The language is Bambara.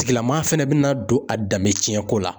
Tigilama fɛnɛ bɛna don a danbetiɲɛko la